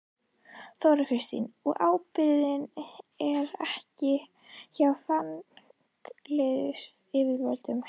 Þóra Kristín: Og ábyrgðin er ekki hjá fangelsisyfirvöldum?